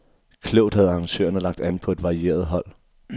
Klogt havde arrangørerne lagt an på et varieret hold.